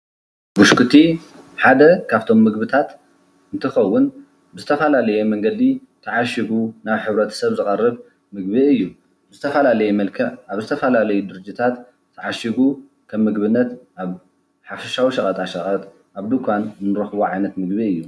ብሽኩቲ ሓደ ካፍቶም ምግብታት እንትኸዉን ብዝተፈላለየ መንገዲ ተዓሽጉ ናብ ሕብረተሰብ ዝቐርብ ምግቢ እዩ። ብዝተፈላለየ መልክዕ ኣብ ዝተፈላለዩ ድርጅታት ተዓሽጉ ከም ምግብነት ኣብ ሓፈሻዊ ሸቐጠሸቐጥ ኣብ ድንኳን እንረክቦ ዓይነት ምግቢ እዩ።